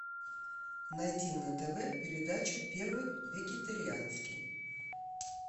найти на тв передачу первый вегетарианский